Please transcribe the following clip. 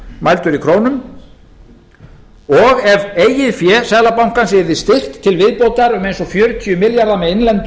mældur í krónum og ef eigið fé seðlabankans yrði styrkt til viðbótar um eins og fjörutíu milljarða með innlendu